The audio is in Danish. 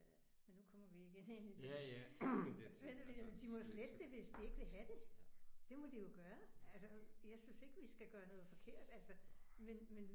Øh men nu kommer vi igen ind i det. Men det ved jeg ikke de må jo slette det hvis de ikke vil have det. Det må de jo gøre altså jeg synes ikke vi skal gøre noget forkert altså men men